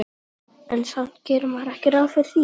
Nei, en samt gerir maður ekki ráð fyrir því